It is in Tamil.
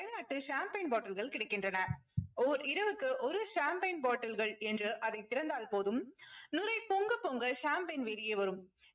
அயல்நாட்டு champagne bottle கள் கிடைக்கின்றன. ஓர் இரவுக்கு ஒரு champagne bottle கள் என்று அதைத் திறந்தால் போதும் நுரை பொங்க பொங்க champagne வெளியே வரும்.